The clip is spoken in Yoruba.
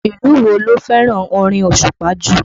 Ìlú wo ló fẹ́ràn orin osupa jù?